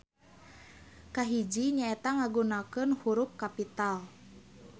Kahiji nyaeta ngagunakeun hurup Kapital.